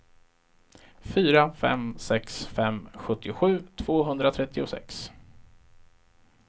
fyra fem sex fem sjuttiosju tvåhundratrettiosex